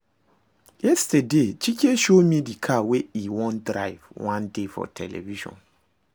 Yesterday Chike show me the car wey e wan drive one day for television